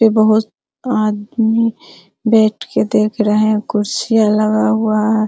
ये बहुत आदमी बैठ के देख रहे है कुर्सियां लगा हुआ हैं।